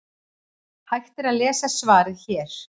Hægt er að lesa svarið hér.